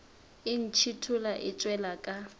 e ntšhithola e tšwela ka